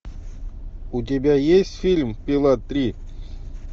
у тебя есть фильм пила три